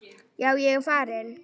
Já, ég er farinn.